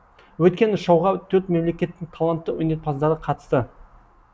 өйткені шоуға төрт мемлекеттің талантты өнерпаздары қатысты